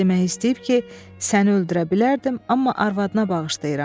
Demək istəyib ki, səni öldürə bilərdim, amma arvadına bağışlayıram.